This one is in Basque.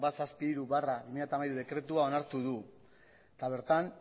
ehun eta hirurogeita hamairu barra bi mila hamairu dekretua onartu du eta bertan